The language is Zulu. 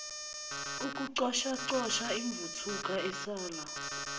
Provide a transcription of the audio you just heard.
ukucoshacosha imvuthuluka esala